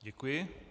Děkuji.